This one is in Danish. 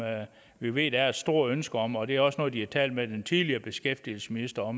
vi ved der er et stort ønske om det er også noget de har talt med den tidligere beskæftigelsesminister